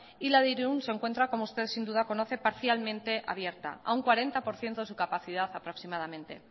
y la de irun se encuentra como usted sin duda conoce parcialmente abierta a un cuarenta por ciento de su capacidad aproximadamente